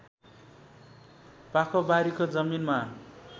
पाखोबारीको जमिनमा